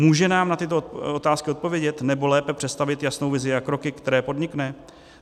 Může nám na tyto otázky odpovědět, nebo lépe představit jasnou vizi a kroky, které podnikne?